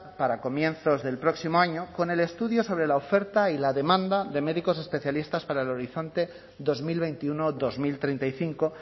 para comienzos del próximo año con el estudio sobre la oferta y la demanda de médicos especialistas para el horizonte dos mil veintiuno dos mil treinta y cinco